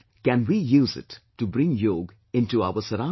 Can we use it to bring Yog into our surroundings